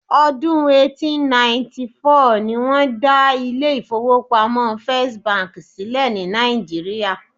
Ọdún eighteen ninety four ni wọ́n dá ilé ìfọwọ́pamo First bank sílẹ̀ ní Nàìjíría.